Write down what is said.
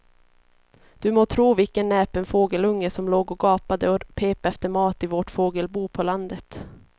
Du må tro vilken näpen fågelunge som låg och gapade och pep efter mat i vårt fågelbo på landet.